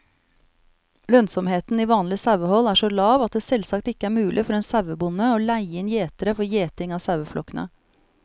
Lønnsomheten i vanlig sauehold er så lav at det selvsagt ikke er mulig for en sauebonde å leie inn gjetere for gjeting av saueflokkene.